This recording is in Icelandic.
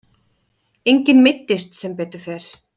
Enginn meiddist sem betur fer.